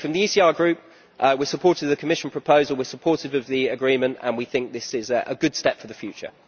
So from the ECR Group, we supported the Commission proposal, we are supportive of the agreement and we think this is a good step for the future.